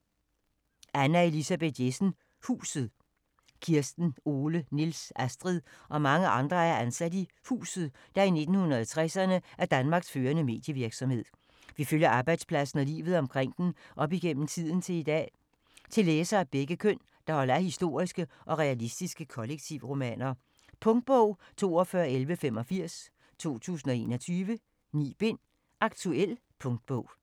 Jessen, Anna Elisabeth: Huset Kirsten, Ole, Niels, Astrid og mange andre er ansat i "Huset", der i 1960'erne er Danmarks førende medievirksomhed. Vi følger arbejdspladsen og livet omkring den op gennem tiden til i dag. Til læsere af begge køn, der holder af historiske og realistiske kollektivromaner. Punktbog 421185 2021. 9 bind. Aktuel punktbog